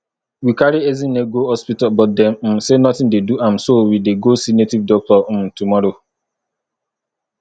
we carry ezinne go hospital but dem um say nothing dey do am so we dey go see native doctor um tomorrow